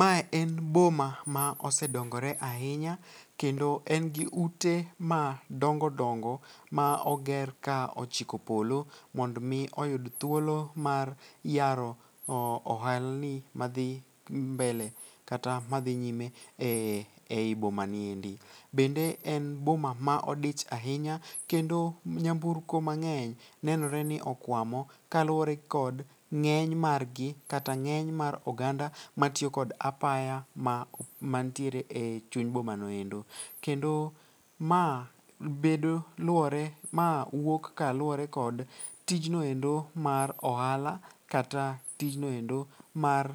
Mae en boma ma osedongore ahinya kendo en gi ute ma dongo dongo ma oger ka ochiko polo mondo mi oyud thuolo mar yaro ohalni madhi mbele kata madhi nyime e i bomani e ndi. Bende en boma ma odich ahinya kendo nyamburko mang'eny nenore ni okwamo kaluwore kod ng'eny margi katya ng'eny mar oganda matiyo kod apaya mantiere e chuny bomano endo. Kendo ma wuok kaluwore kod tijnoendo mar ohala kata tijnoendo mar